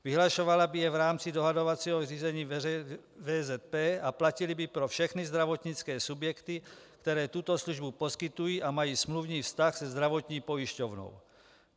Vyhlašovala by je v rámci dohodovacího řízení VZP a platily by pro všechny zdravotnické subjekty, které tyto službu poskytují a mají smluvní vztah se zdravotní pojišťovnou.